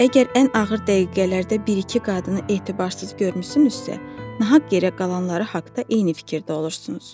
Əgər ən ağır dəqiqələrdə bir-iki qadını etibarsız görmüsünüzsə, naq yerə qalanları haqda eyni fikirdə olursunuz.